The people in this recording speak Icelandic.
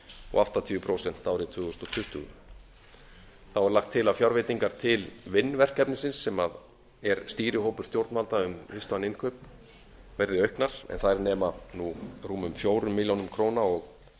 og áttatíu prósent árið tvö þúsund tuttugu þá er lagt til að fjárveitingar til vinn verkefnisins sem er stýrihópur stjórnvalda um vistvæn innkaup verði auknar en þær nema nú rúmum fjórum milljónum króna og